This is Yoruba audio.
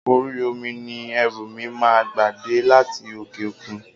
Orí omi ni ẹrú mi máa gba dé láti òkè òkun.